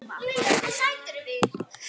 Ég þagði, beið.